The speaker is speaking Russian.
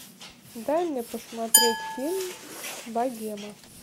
дай мне посмотреть фильм богема